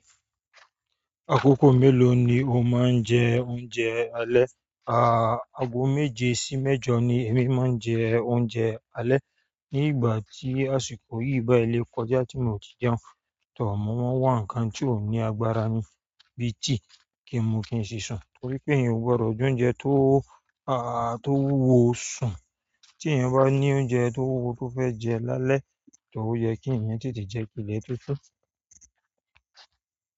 Àkókò mélòó ni o máa ń jẹ oúnjẹ alẹ́? Àà, ago méje sí mẹ́jọ ni èmi máa ń jẹ oúnjẹ alẹ́ ní ìgbà tí àsìkò yìí bái le kọjá tí mo ti jẹun. Tọ̀, mo n wá ǹnkan tí ó ní agbára ni bí i tea kí n mu kí n sì sùn torí pé èèyàn ò gbọdọ̀ jẹ oúnjẹ tó, àà, tó wúwo sùn. Tí èèyàn bá ní oúnjẹ tó wúwo tó fẹ́ jẹ lálẹ́, tọ̀ ó yẹ kí èèyàn tètè jẹ kì ilẹ tó sú.